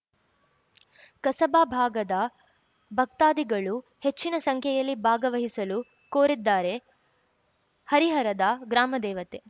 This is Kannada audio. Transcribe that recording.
ಕಸಬಾ ಭಾಗದ ಭಕ್ತಾದಿಗಳು ಹೆಚ್ಚಿನ ಸಂಖ್ಯೆಯಲ್ಲಿ ಭಾಗವಹಿಸಲು ಕೋರಿದ್ದಾರೆ ಹರಿಹರದ ಗ್ರಾಮದೇವತೆ